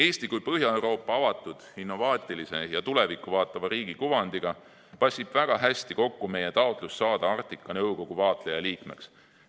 Eesti kui Põhja-Euroopa avatud, innovaatilise ja tulevikku vaatava riigi kuvandiga passib väga hästi kokku meie taotlus saada Arktika Nõukogu vaatlejaliikmeks.